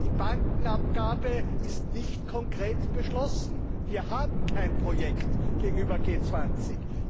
Die Bankenabgabe ist nicht konkret beschlossen. Wir haben kein Projekt gegenüber G 20.